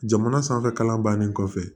Jamana sanfɛ kalan bannen kɔfɛ